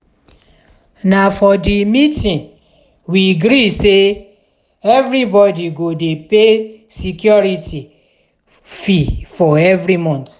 na for di meeting we gree sey everybodi go dey pay security fee every month.